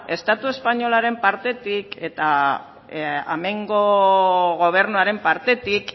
estatu espainolaren partetik eta hemengo gobernuaren partetik